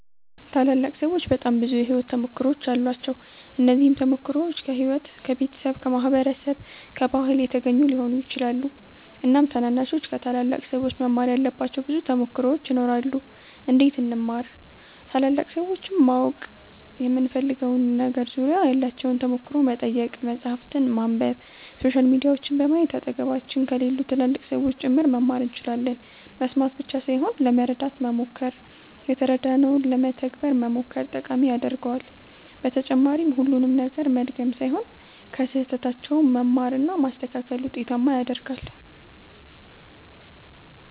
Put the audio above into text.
ታላላቅ ሠዎች በጣም ብዙ የሕይወት ተሞክሮዎች አሏቸው። እነዚህም ተሞክሮዎች ከሕይወት፣ ከቤተሰብ፣ ከማህበረሰብ፣ ከባህል የተገኙ ሊሆኑ ይችላሉ። እናም ታናናሾች ከታላላቅ ሠዎች መማር ያለባቸው ብዙ ተሞክሮዎች ይኖራሉ። እንዴት እንማር ?ታላላቅ ሠዎችን ማወቅ በምንፈልገው ነገር ዙሪያ ያላቸውን ተሞክሮ መጠየቅ፣ መፃህፍትን ማንበብ፣ ሶሻል ሚዲያዎችን በማየት አጠገባችን ከሌሉ ትላልቅ ሠዎችም ጭምር መማር እንችላለን መስማት ብቻ ሣይሆን ለመረዳት መሞከር የተረዳነውን ለመተግበር መሞከር ጠቃሚ ያደርገዋል በተጨማሪም ሁሉንም ነገር መድገም ሣይሆን ከሥህተታቸውም መማር እና ማስተካከል ውጤታማ ያደርጋል።